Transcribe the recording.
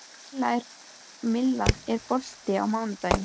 Milla, er bolti á mánudaginn?